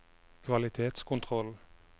kvalitetskontroll